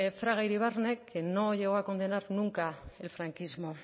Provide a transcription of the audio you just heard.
fraga iribarne que no llegó a condenar nunca el franquismo